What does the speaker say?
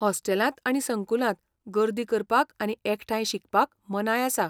हॉस्टेलांत आनी संकुलांत गर्दी करपाक आनी एकठांय शिकपाक मनाय आसा.